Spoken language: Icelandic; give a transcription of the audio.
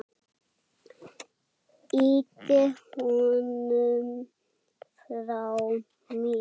Ýti honum frá mér.